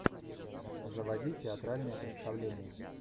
заводи театральное представление